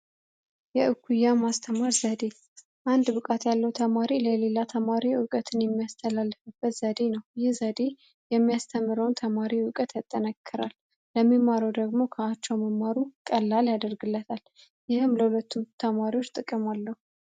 የኩያን ማስተማር ዘዴ አንድ ብቃት ያለው ተማሪ ለሌላ ተማሪው እውቀትን የሚያስተላዴ ነው የሚያስተምረውን ተማሪ እውቀት ያጠናክራል ለሚመረው ደግሞ ቀላል ያደርግለታል ለሁለቱም ተማሪዎች ጥቅማለሁ